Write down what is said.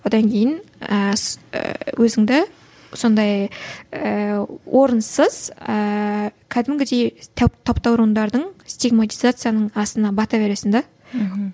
одан кейін ііі і өзіңді сондай ііі орынсыз ііі кәдімгідей таптауырындардың стигматизацияның астына бата бересің де